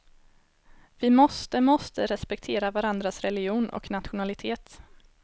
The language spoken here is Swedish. Vi måste måste respektera varandras religion och nationalitet.